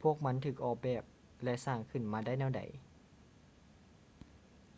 ພວກມັນຖືກອອກແບບ ແລະ ສ້າງຂຶ້ນມາໄດ້ແນວໃດ